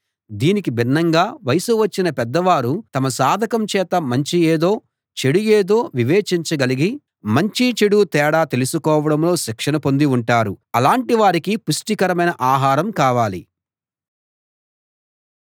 దీనికి భిన్నంగా వయస్సు వచ్చిన పెద్దవారు తమ సాధకం చేత మంచి ఏదో చెడు ఏదో వివేచించ గలిగి మంచీ చెడూ తేడా తెలుసుకోవడంలో శిక్షణ పొంది ఉంటారు అలాంటి వారికి పుష్టికరమైన ఆహారం కావాలి